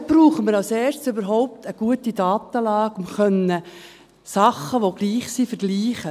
Und dort brauchen wir als Erstes überhaupt eine gute Datenlage, um Dinge vergleichen zu können, die gleich sind.